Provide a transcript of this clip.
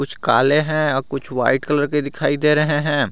कुछ काले हैं और कुछ व्हाइट कलर के दिखाई दे रहे हैं।